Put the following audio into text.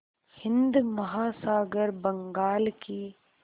हिंद महासागर बंगाल की